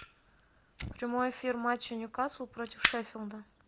прямой эфир матча ньюкасл против шеффилда